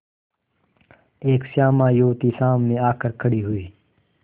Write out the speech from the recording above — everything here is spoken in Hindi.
एक श्यामा युवती सामने आकर खड़ी हुई